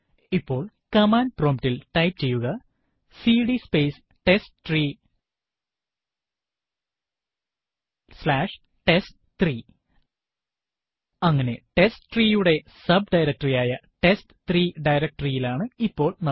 ഇപ്പോൾ command prompt ൽ type ചെയ്യുക CD space testtree slash test three അങ്ങനെ testtree യുടെ സബ്ഡയറക്ടറി ആയ ടെസ്റ്റ്3 directory യിലാണ് ഇപ്പോൾ നമ്മൾ